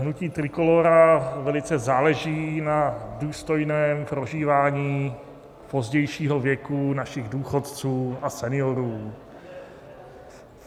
Hnutí Trikolóra velice záleží na důstojném prožívání pozdějšího věku našich důchodců a seniorů.